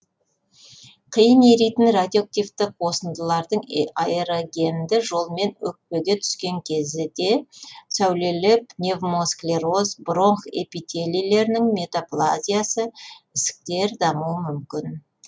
қиын еритін радиоактивті қосындылардың аэрогенді жолмен өкпеге түскен кезде сәулелер пневмосклероз бронх эпителилерінің метаплазиясы ісіктер дамуы мүмкін